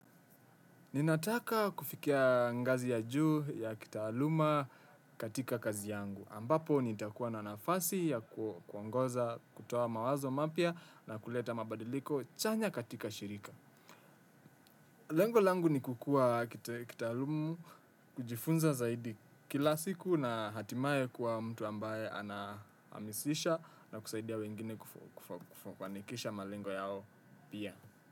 Ninataka kufikia ngazi ya juu ya kitaaluma katika kazi yangu, ambapo nitakuwa na nafasi ya kuongoza kutoa mawazo mapya na kuleta mabadiliko chanya katika shirika. Lengo langu ni kukua kitaalumu. Kujifunza zaidi kila siku na hatimaye kuwa mtu ambaye ana amisisha na kusaidia wengine kufanikisha malengo yao pia.